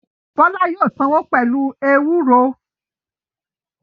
Bọ́lá yóò sanwó pẹlu eúrò.